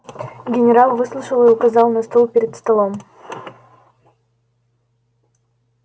генерал выслушал и указал на стул перед столом